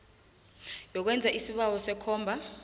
yokwenza isibawo sekomba